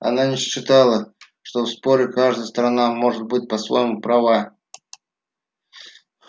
она не считала что в споре каждая сторона может быть по-своему права